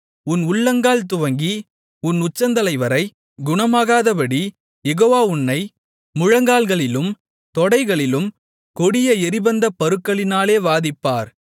உன் உள்ளங்கால் துவங்கி உன் உச்சந்தலைவரை குணமாகாதபடி யெகோவா உன்னை முழங்கால்களிலும் தொடைகளிலும் கொடிய எரிபந்தப் பருக்களினாலே வாதிப்பார்